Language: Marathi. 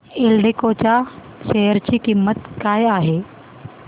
एल्डेको च्या शेअर ची किंमत काय आहे